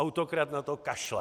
Autokrat na to kašle.